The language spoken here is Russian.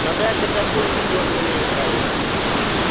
но даже в таком виде он мне нравился